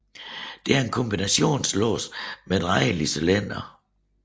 Det er en kombinationslås med drejelig cylinder